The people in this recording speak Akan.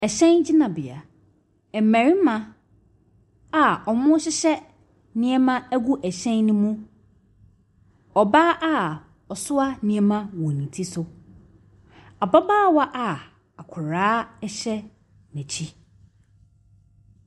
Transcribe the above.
Hyɛn gyinabea, mmarima a wɔrehyehyɛ nneɛma gu hyɛn ne mu, ɔbaa a ɔoa nneɛma wɔ ne ti so, ababaawa a akwadaa hyɛ n’akyi.